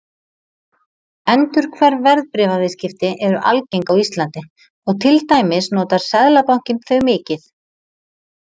Endurhverf verðbréfaviðskipti eru algeng á Íslandi og til dæmis notar Seðlabankinn þau mikið.